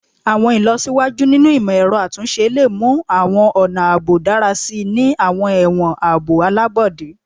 Awọn ilọsiwaju ninu imọ-ẹrọ atunṣe le mu awọn ọna aabo dara si ni awọn ẹwọn aabo alabọde